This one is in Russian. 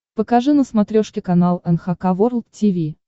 покажи на смотрешке канал эн эйч кей волд ти ви